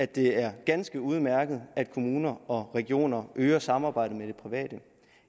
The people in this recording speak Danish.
det er ganske udmærket at kommuner og regioner øger samarbejdet med det private